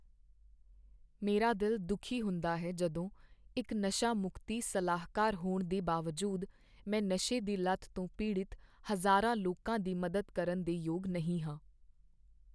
ਮੇਰਾ ਦਿਲ ਦੁੱਖੀ ਹੁੰਦਾ ਹੈ ਜਦੋਂ, ਇੱਕ ਨਸ਼ਾ ਮੁਕਤੀ ਸਲਾਹਕਾਰ ਹੋਣ ਦੇ ਬਾਵਜੂਦ, ਮੈਂ ਨਸ਼ੇ ਦੀ ਲਤ ਤੋਂ ਪੀੜਤ ਹਜ਼ਾਰਾਂ ਲੋਕਾਂ ਦੀ ਮਦਦ ਕਰਨ ਦੇ ਯੋਗ ਨਹੀਂ ਹਾਂ।